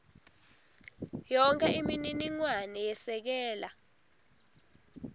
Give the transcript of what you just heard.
yonkhe imininingwane yesekela